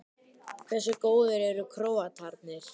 Hversu góðir eru Króatarnir?